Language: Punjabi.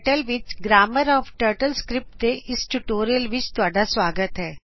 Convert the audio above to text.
ਕੇ ਟਰਟਲ ਵਿੱਚ ਗਰਾਮਰ ਆਫ ਟਰਟਲਸਕਰੀਪਟ ਦੇ ਇਸ ਟਯੂਟੋਰਿਅਲ ਵਿੱਚ ਤੁਹਾਡਾ ਸਵਾਗਤ ਹੈ